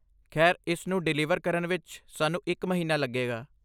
ਖੈਰ, ਇਸ ਨੂੰ ਡਿਲੀਵਰ ਕਰਨ ਵਿੱਚ ਸਾਨੂੰ ਇੱਕ ਮਹੀਨਾ ਲੱਗੇਗਾ।